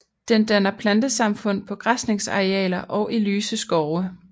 Den danner plantesamfund på græsningsarealer og i lyse skove